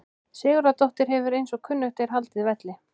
Sigurðardóttir hefur eins og kunnugt er haldið velli.